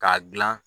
K'a dilan